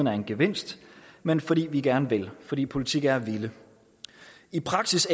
er en gevinst men fordi vi gerne vil fordi politik er at ville i praksis